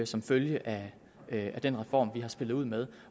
som følge af den reform vi har spillet ud med